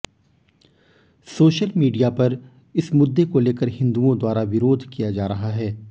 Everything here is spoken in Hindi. सोशल मीडिया पर इस मुद्दे को लेकर हिन्दुआें द्वारा विरोध किया जा रहा है